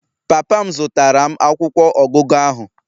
Papa m zụtara m akwụkwọ ọgụgụ ahụ